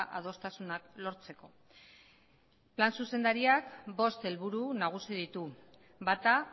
adostasunak lortzeko plan zuzendariak bost helburu nagusi ditu bata